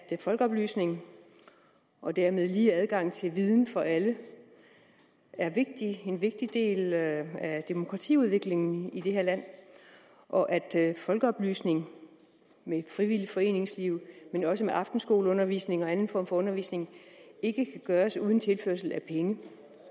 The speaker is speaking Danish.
at folkeoplysning og dermed lige adgang til viden for alle er vigtig en vigtig del af demokratiudviklingen i det her land og at folkeoplysning med frivilligt foreningsliv men også med aftenskoleundervisning og anden form for undervisning ikke kan gøres uden tilførsel af penge